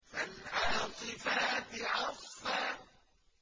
فَالْعَاصِفَاتِ عَصْفًا